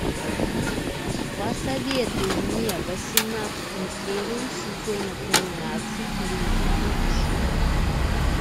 посоветуй мне восемнадцатую серию сезона тринадцать люди будущего